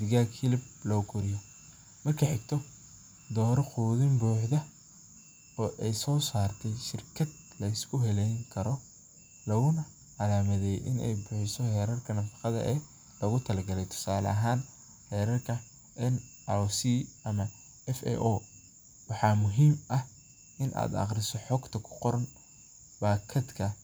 digaaga, dooro qudin buuxda, tusale ahaan xeerarka shirkadaha, aqri xogta kuqoran bakadaha.